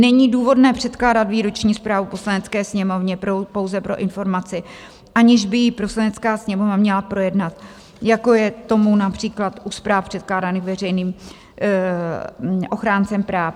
Není důvodné předkládat výroční zprávu Poslanecké sněmovně pouze pro informaci, aniž by ji Poslanecká sněmovna měla projednat, jako je tomu například u zpráv předkládaných veřejným ochráncem práv.